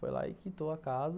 Foi lá e quitou a casa.